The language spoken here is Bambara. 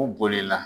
U bolila